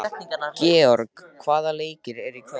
Gregor, hvaða leikir eru í kvöld?